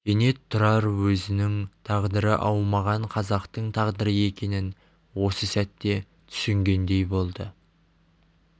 кенет тұрар өзінің тағдыры аумаған қазақтың тағдыры екенін осы сәтте түсінгендей болды